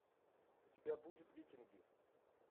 у тебя будет викинги